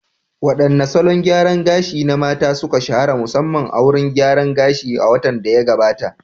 Wadanne salon gyaran gashi na mata, suka shahara musamman a wurin gyaran gashi a watan da ya gabata?